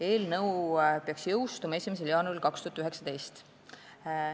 Eelnõu peaks jõustuma 1. jaanuaril 2019.